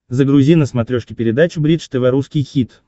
загрузи на смотрешке передачу бридж тв русский хит